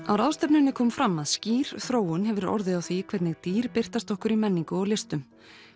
á ráðstefnunni kom fram að skýr þróun hefur orðið á því hvernig dýr birtast okkur í menningu og listum